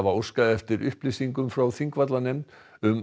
óskað eftir upplýsingum frá Þingvallanefnd um